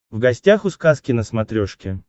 в гостях у сказки на смотрешке